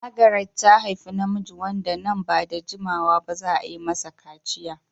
Margaret ta haifi namiji wanda nan ba da jimawa ba za a yi masa kaciya.